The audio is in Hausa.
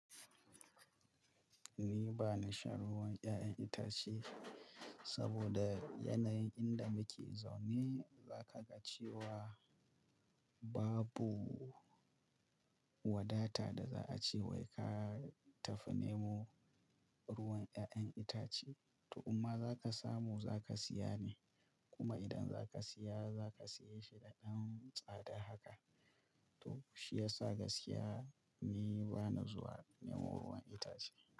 Ni bani shan ruwan 'ya'yan itace saboda yanayin inda muke zaune, za kaga cewa babu wadata da za a ce wai ka tafi nemo ruwan 'ya'yan itace. To imma za ka samu, za ka siya ne. Kuma idan za ka siya, za ka siye shi da ɗan tsada haka. To shi yasa gaskiya ni ba na zuwa nemo ruwan itace.